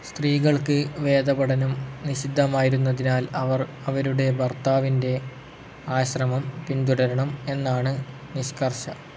സ്ത്രീകൾക്ക് വേദപഠനം നിഷിദ്ധമായിരുന്നതിനാൽ അവർ അവരുടെ ഭർത്താവിന്റെ ആശ്രമം പിന്തുടരണം എന്നാണ് നിഷ്കർഷ‌.